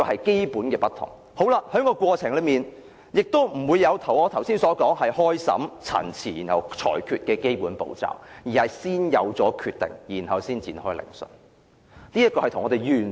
整個過程也不存在我剛才所說的審訊、陳辭、裁決的基本步驟，而是先有決定，才展開聆訊的。